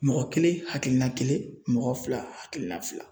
Mɔgɔ kelen hakilina kelen mɔgɔ fila hakilina fila.